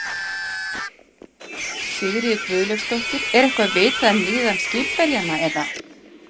Sigríður Guðlaugsdóttir: Er eitthvað vitað um líðan skipverjanna eða?